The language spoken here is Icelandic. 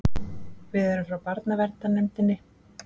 Við erum frá barnaverndarnefndinni.